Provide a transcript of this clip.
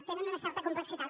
tenen una certa complexitat